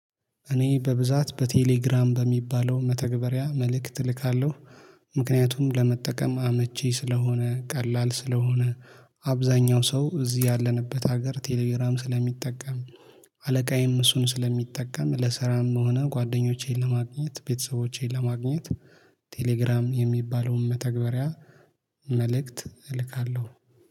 እኔ በብዛት በቴሌግራም በሚባለው መተግበሪያ መልእክት እልካለሁ። ምክንያቱም ለመጠቀም አመቺ ስለሆነ ቀላል ስለሆነ። አብዛኛው ሰው እዚህ ያለንበት ሀገር ቴሌግራም ስለሚጠቀም። አለቃዬም እሱን ስለሚጠቀም ለስራም ሆነ ጓደኞቼን ለማግኘት ቤተሰቦቼን ለማግኘት። ቴሌግራም የሚባለውን መተግበሪያ መልእክት እልካለሁ